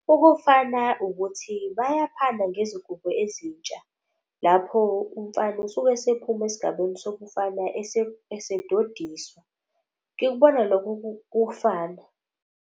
Ukufana ukuthi bayaphana ngezingubo ezintsha. Lapho umfana usuke esephuma esigabeni sobumfana esedodiswa. Ngikubona lokho kufana.